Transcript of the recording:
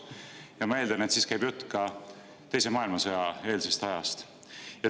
" Ma eeldan, et jutt käib ka teise maailmasõja eelsest ajast.